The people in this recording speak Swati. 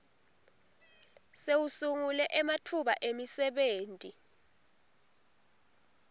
sewusungule ematfuba emisebenti